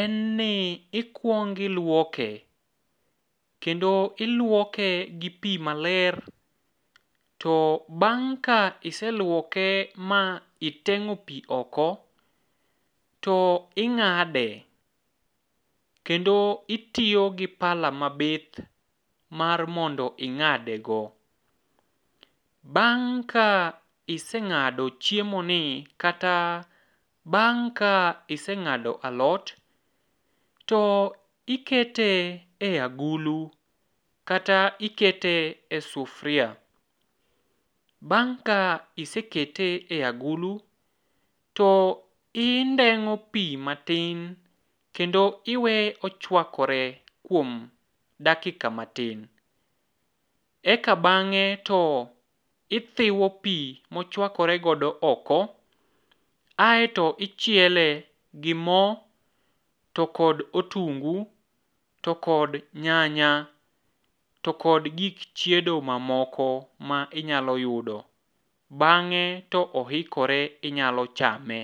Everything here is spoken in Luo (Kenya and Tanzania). en ni ikwongo ilwoke, kendo ilwoke gi pi maler to bang' ka iselwoke ma iteng'o pi oko, to ing'ade kendo itiyo gi pala mabith, mar mondo ing'adego. Bang' ka iseng'ado chiemoni kata bang' ka iseng'ado alot, to ikete e agulu kata ikete e sufria. Bang' ka isekete e agulu, to indeng'o pi matin kendo iweye ochwakore kuom dakika matin. Eka bang'e to ithiwo pi mochwakore godo oko, aeto ichiele gi mo to kod otungu to kod nyanya, to kod gik chiedo mamoko ma inyalo yudo ,bang'e to oikore inyalo chame.